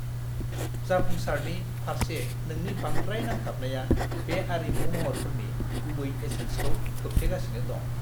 जाफुंसारनि फारसे नोंनि बांद्राय नांथाबनाया बे आरिमु महरफोरनि गुबै एसेन्सखौ खोबथेगासिनो दं!